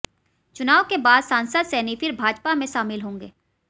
चुनाव के बाद सांसद सैनी फिर भाजपा में शामिल होंगे